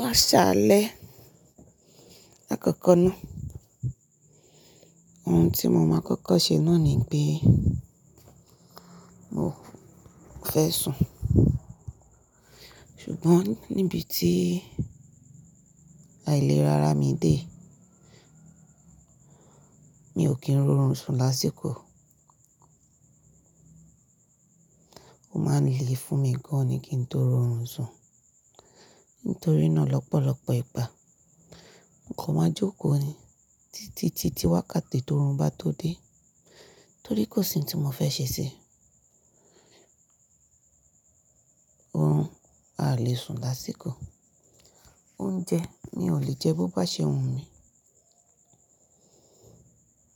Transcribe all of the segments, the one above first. Má ṣáálẹ́ àkọ́kọ́ náà, ohun tí mo má kọ́kọ́ ṣe náà ni pé mo fẹ́ sùn. Ṣùgbọ́n níbi tí àìlera ara mi dé, mi ò kí ń ro orun sùn lásìkò. Ó má ń le fún mi gán-an ni kí n tó ro orun sùn. Nítorí náà lọ́pọ̀lọ́pọ̀ ìgbà, n kọ̀ má jókòó ni títí di wákàtí tó ro orun bá tó dé, torí kò sí n tí mo fẹ́ ṣe sí i. Orun a lè sùn lásìkò. Oúnjẹ mi ò lè jẹ bó bá ṣe hun mi.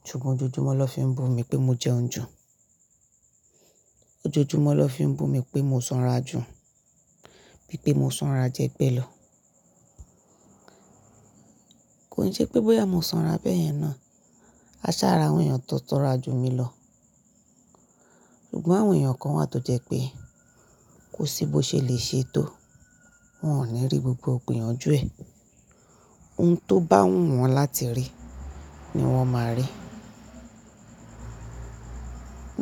Ṣùgbọ́n ojoojúmọ́ lọ fi ń bú mi pé mo jẹun ju. Ojoojúmọ́ lọ fi ń bú mi pé mo sanra ju, bí pé mo sanra jẹ́gbẹ́ lọ. Kòi n sẹ́ pé bóyá mo sanra bẹ́yẹn náà, a sá ra àwọn èèyàn tó sanra ju mi lọ. Ṣùgbọ́n àwọn èèyàn kan wà tó jẹ́ pé kò sí bó ṣe lè ṣe é tó, wọ́n ò ní rí gbogbo igbiyanjú ẹ. Ohun tó bá hun wọn láti rí ni wọ́n máa rí.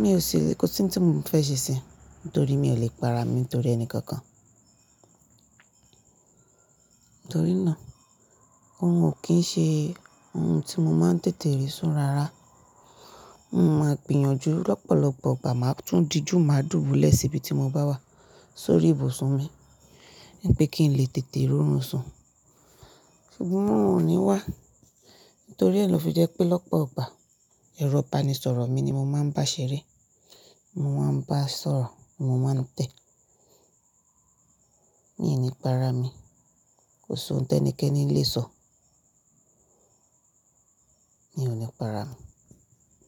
Mi ò ṣe kò sí ohun tí mo fẹ́ ṣe sí i nítorí mi ò lè para mi nítorí ẹnì kankan. Nítorí náà, òrun ò kí ń ṣe ohun tí mo má ń tètè rí sùn rárá. Mò máa gbìyànjú lọ́pọ̀lọpọ̀ ìgbà máa tún dijú, máa dùbúlẹ̀ síbi tí mo bá wà sórí ìbùsùn mi wípé kí n lè tètè ro orun sùn. Ṣùgbọ́n òhun ò ní wà. Nítorí ẹ lọ fi jẹ́ pé lọ́pọ̀ ìgbà, ẹ̀rọ ìbánisọ̀rọ̀ mi ni mo máa ń bá ṣeré, mo máa ń bá a sọ̀rọ̀, mo máa ń tẹ̀. Mi í ni para mi, kò sọ́n tẹ́nìkẹ́ni lè sọ mío ni para mi.